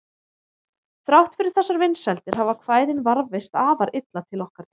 Þrátt fyrir þessar vinsældir hafa kvæðin varðveist afar illa til okkar tíma.